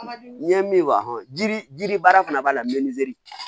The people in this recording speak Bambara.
N ye min wajiri yiri baara fana b'a la